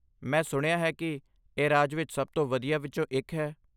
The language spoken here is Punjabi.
ਮੈਂ ਸੁਣਿਆ ਹੈ ਕਿ ਇਹ ਰਾਜ ਵਿੱਚ ਸਭ ਤੋਂ ਵਧੀਆ ਵਿੱਚੋਂ ਇੱਕ ਹੈ।